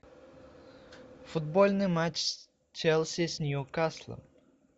футбольный матч челси с ньюкаслом